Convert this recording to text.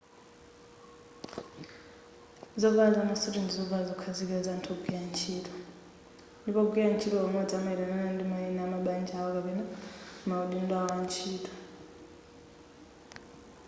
zovala zamasuti ndi zovala zokhazikika za anthu ogwira ntchito ndipo ogwira ntchito pamodzi amayitanana ndi mayina a mabanja awo kapena maudindo awo a ntchito